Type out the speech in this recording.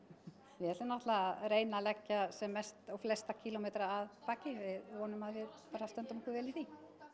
við ætlum náttúrulega að reyna að leggja sem flesta kílómetra að baki við vonum að við bara stöndum okkur vel í því